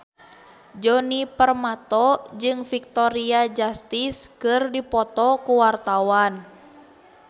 Djoni Permato jeung Victoria Justice keur dipoto ku wartawan